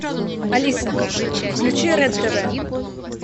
алиса включи рен тв